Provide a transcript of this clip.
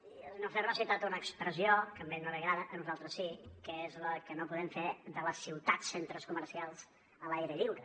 i el senyor ferro ha citat una expressió que a ell no li agrada a nosaltres sí que és la que no podem fer de les ciutats centres comercials a l’aire lliure